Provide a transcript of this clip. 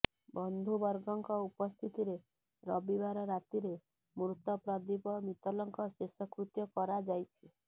ବନ୍ଧୁବର୍ଗଙ୍କ ଉପସ୍ଥିତିରେ ରବିବାର ରାତିରେ ମୃତ ପ୍ରଦୀପ ମିତ୍ତଲଙ୍କ ଶେଷକୃତ୍ୟ କରାଯାଇଛି